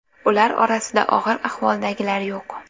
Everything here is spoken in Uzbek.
Ular orasida og‘ir ahvoldagilar yo‘q.